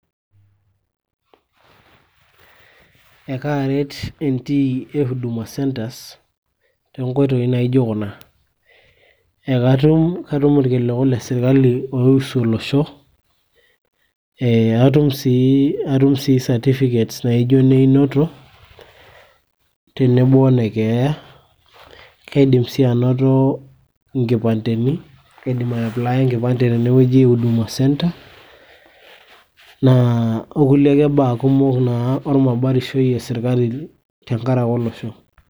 ekaaret entiiy e huduma centres toonkoitoi naijo kuna, ekatum irkiliku le sirkali oiusu olosho atum sii, atum sii certificates naijo neinoto tenebo o nekeeya, kaidim sii anoto nkipandeni, kaidim aiapplaya enkipande tenewueji e huduma centre naa okulie ake baa kumok naa ormabarishoi e sirkali tenkaraki olosho.